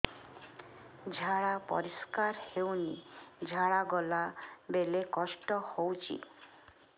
ଝାଡା ପରିସ୍କାର ହେଉନି ଝାଡ଼ା ଗଲା ବେଳେ କଷ୍ଟ ହେଉଚି